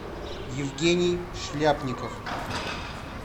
евгений шляпников